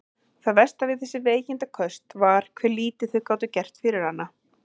Það versta við þessi veikindaköst var hve lítið þau gátu gert fyrir hana.